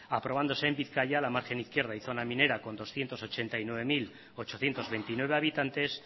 aprobándose en bizkaia la margen izquierda y zona minera con doscientos ochenta y nueve mil ochocientos veintinueve habitantes